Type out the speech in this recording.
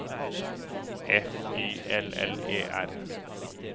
F Y L L E R